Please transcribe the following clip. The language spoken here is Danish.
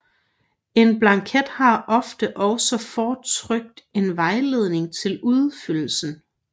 En blanket har ofte også fortrykt en vejledning til udfyldelsen